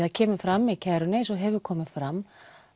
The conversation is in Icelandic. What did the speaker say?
það kemur fram í kærunni eins og hefur komið fram